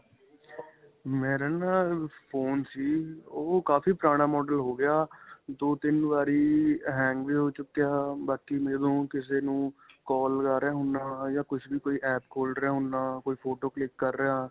ਮੇਰਾ ਨਾ phone ਸੀ ਉਹ ਕਾਫੀ ਪੁਰਾਣਾ model ਹੋ ਗਿਆ. ਦੋ-ਤਿੰਨ ਵਾਰੀ hang ਵੀ ਹੋ ਚੁੱਕਿਆ. ਬਾਕੀ ਮੈਂ ਹੁਣ ਕਿਸੇ ਨੂੰ call ਲੱਗਾ ਰਿਹਾ ਹੁੰਨਾਂ ਜਾਂ ਕੁੱਝ ਵੀ ਕੋਈ app ਖੋਲ ਰਿਹਾ ਹੁੰਨਾਂ ਕੋਈ photo click ਕਰ ਰਿਹਾ.